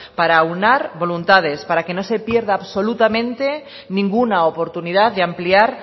para aunar voluntades para que no se pierda absolutamente ninguna oportunidad de ampliar